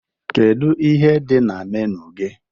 Kedu ihe dị na menu gị